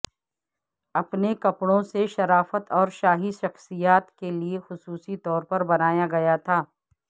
اپنے کپڑوں سے شرافت اور شاہی شخصیات کے لئے خصوصی طور پر بنایا گیا تھا